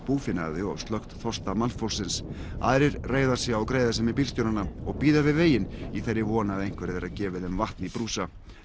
búfénaði og slökkt þorsta mannfólksins aðrir reiða sig á greiðasemi bílstjóranna og bíða við veginn í þeirri von að einhver þeirra gefi þeim vatn í brúsa